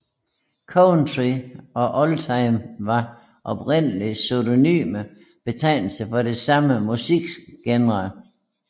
Country og oldtime var oprindelig synonyme betegnelser for den samme musikgenre